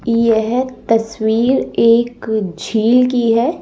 यह तस्वीर एक झील की है।